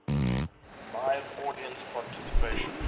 live audience participation